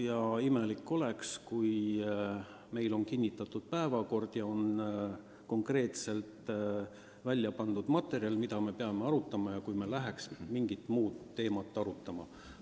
Ja imelik olekski, kui meil on kinnitatud päevakord ja on konkreetselt teada materjal, mida me peame arutama, meie aga hakkaks mingit muud teemat arutama.